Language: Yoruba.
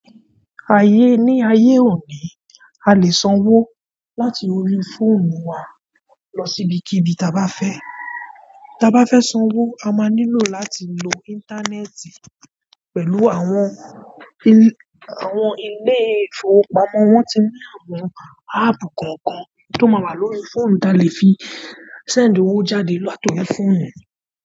Ní ayé òní, a lè sanwó láti orí fóònù wa lọ sí ibikíbi ta bá fẹ́. Ta bá fẹ́ sanwó, a máa nílò láti lo íńtánẹ́ẹ̀tì pẹ̀lú àwọn ilé ìfowópamọ́. Wọ́n ti ní àwọn áàpù kọ̀ọ̀kan tó máa wà lórí fóònù ta lè fi sẹ́ẹ̀ndì owo jáde láti orí fóònù.